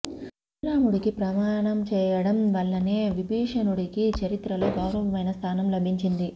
శ్రీరాముడికి ప్రణామం చేయడం వల్లనే విభీషణుడికి చరిత్రలో గౌరవమైన స్థానం లభించింది